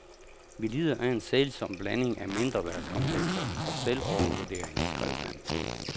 Vi lider af en sælsom blanding af mindreværdskomplekser og selvovervurdering, skrev han.